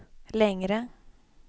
längre